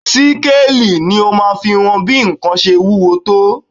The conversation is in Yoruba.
Síkáàli ni ó máa fi wọn bí nǹkan ṣe wúwo tó